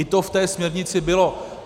I to v té směrnici bylo.